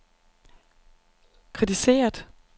kritiseret